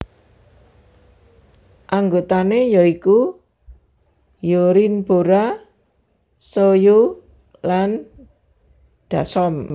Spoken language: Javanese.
Anggotané ya iku Hyorin Bora Soyou lan Dasom